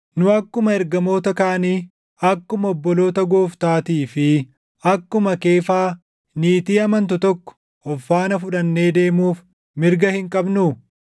Nu akkuma ergamoota kaanii, akkuma obboloota Gooftaatii fi akkuma Keefaa niitii amantu tokko of faana fudhannee deemuuf mirga hin qabnuu?